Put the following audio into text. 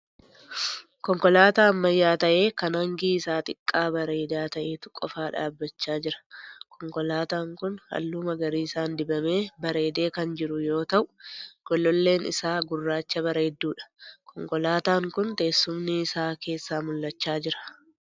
Konkolaataa ammayyaa ta'ee kan hangi isaa xiqqaa bareedaa ta'etu qofaa dhaabbachaa jira. Konkolaataan kun halluu magariisaan dibamee bareedee kan jiru yoo ta'u gololleen isaa gurraacha bareedduudha. Konkolaataan kun teessumni isaa keessaa mul'achaa jira.